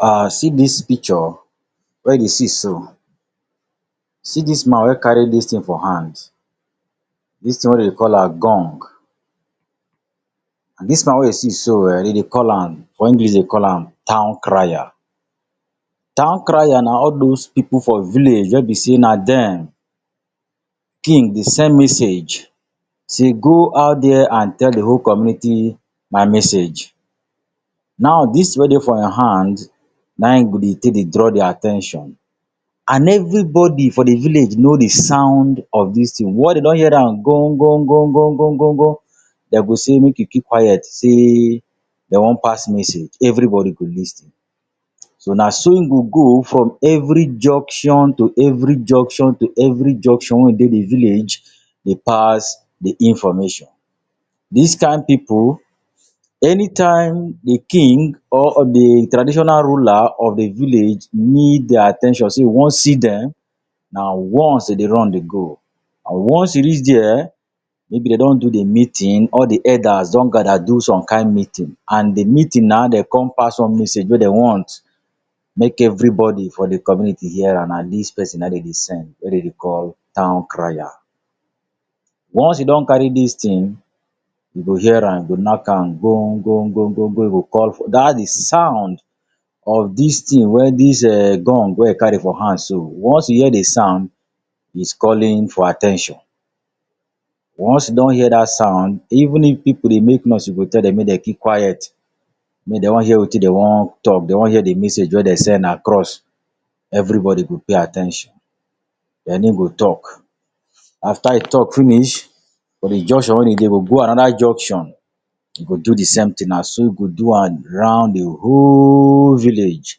um see dis picture wey you dey see so, see dis man wey carry dis thing for hand. Dis thing wey dem dey call am gong. And dis man wey you see so um dem dey call am for English dem dey call am town crier. Town crier na all those pipu for village wey be sey na den king dey send message sey go out dia and tell de whole community my message. Now, dis thing wey dey for im hand na e go dey take dey draw their at ten tion, and everybody for de village know di sound of dis thing. Once dem don hear am gon gon gon gon gon gon gon, dem go say make you keep quiet sey dem one pass message. Everybody go lis ten. So, na so in go go for every junction to every junction to every junction wey dey de village dey pass de information. Dis kind pipu, anytime di king or di traditional ruler of di village need their at ten tion sey e want see dem, na once dem dey run dey go. And once e reach there, maybe dem don do de meeting or de elders don gather do some kind meeting, and de meeting na dem come pass one message wey dem want make everybody for di community hear am, na dis person na dem dey send, wey dem dey call town crier. Once e don carry dis thing you go hear am, e go knack am gon gon gon gon gon That di sound of dis thing wey dis gong wey e carry for hand so, once you hear di sound, he’s calling for at ten tion. Once you don hear dat sound, even if pipu dey make noise, e go tell dem make dem keep quiet, make dem one hear wetin dem want talk. Dem want hear de message wey dem send dem across. Everybody go pay at ten tion, then in go talk. After e talk finish for de junction wey e dey, e go go another junction. E go do de same thing. Na so e go do am round de whole village.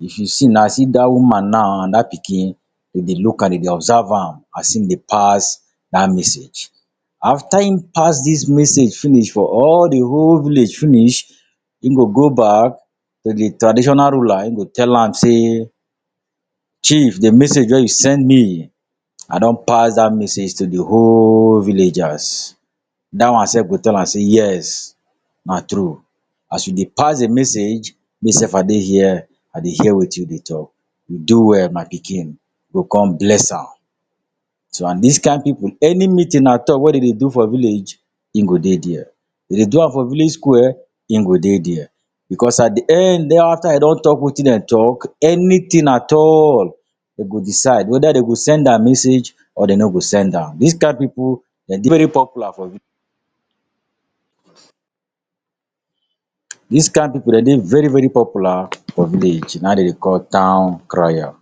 If you see na see that woman now and that pikin, dem dey look am. Dem dey observe am as im dey pass that message. After e pass dis message finish for all di whole village finish, e go go back to de traditional ruler, e go tell am sey chief de message wey you send me, I don pass that message to di whole villagers. That one self go tell am sey yes na true. As you dey pass di message me self I dey here, I dey hear wetin you dey talk. You do well my pikin. E go come bless am. So, and dis kind pipu, any meeting at all wey dem dey do for village e go dey there. If dem do am for village square, in go dey there. Because at de end after e don talk wetin dem talk, anything at all dem go decide wether dem go send am message or dem no go send am. Dis kind pipu dem dey very popular for village. Dis kind pipu dem dey very very popular for village. Na in dem dey call town crier.